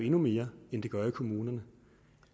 endnu mere end det gør i kommunerne